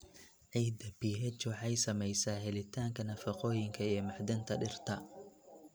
Ciidda pH waxay saamaysaa helitaanka nafaqooyinka iyo macdanta dhirta.